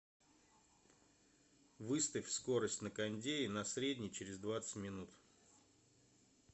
выставь скорость на кондее на средний через двадцать минут